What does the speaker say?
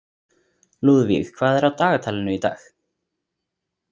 Lúðvíg, hvað er á dagatalinu í dag?